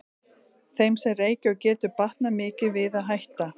Þeim sem reykja getur batnað mikið við að hætta.